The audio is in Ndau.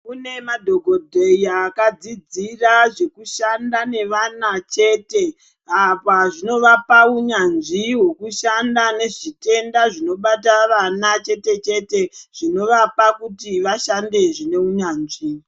Kune madhokoteya akadxlzidzira zvekushanda nevana chete. Apa zvinovapa unyanzvi hwekushanda nezvitenda zvinobata vana chete-chete zvinovapa kuti vashande zvineunyanzvi.